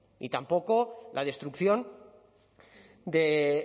ni tampoco la destrucción de